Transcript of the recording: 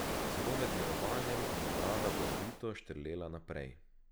Celo med mirovanjem mu je brada bojevito štrlela naprej.